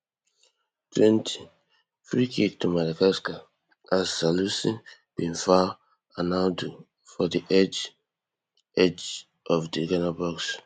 twentyfreekick to madagascar as salisu bin foul arnaud for di edge edge of di ghana box